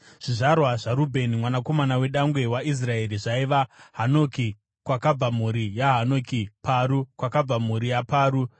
Zvizvarwa zvaRubheni mwanakomana wedangwe waIsraeri zvaiva: Hanoki, kwakabva mhuri yaHanoki; Paru, kwakabva mhuri yaParu;